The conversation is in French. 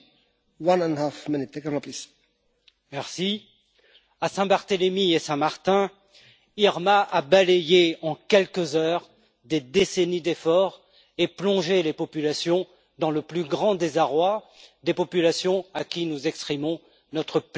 Monsieur le Président, à Saint Barthélemy et Saint Martin, Irma a balayé en quelques heures des décennies d'efforts et plongé les populations dans le plus grand désarroi, des populations à qui nous exprimons notre pleine compassion.